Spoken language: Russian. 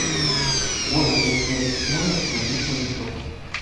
можно ли снять номер на длительный срок